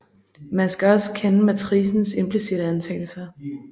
Man skal også kende matricens implicitte antagelser